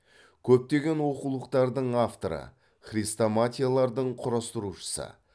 көптеген оқулықтардың авторы хрестоматиялардың құрастырушысы